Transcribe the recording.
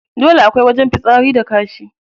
Dole akwai wajen fitsari da kashi.